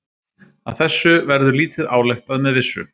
Af þessu verður lítið ályktað með vissu.